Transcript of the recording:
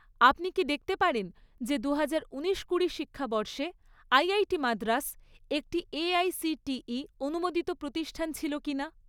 আপনি কি দেখতে পারেন যে দুহাজার উনিশ কুড়ি শিক্ষাবর্ষে আইআইটি মাদ্রাস একটি এআইসিটিই অনুমোদিত প্রতিষ্ঠান ছিল কিনা?